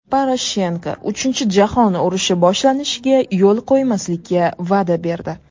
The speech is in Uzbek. Poroshenko uchinchi jahon urushi boshlanishiga yo‘l qo‘ymaslikka va’da berdi.